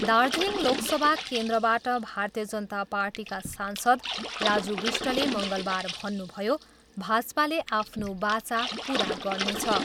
दार्जिलिङ लोकसभा केन्द्रबाट भारतीय जनाता पार्टीका सांसद राजु विष्टले मङ्गलबार भन्नुभयो, भाजपाले आफ्नो बाचा पुरा गर्नेछ।